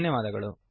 ಧನ್ಯವಾದಗಳು